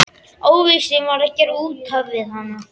Óvissan var að gera út af við hana.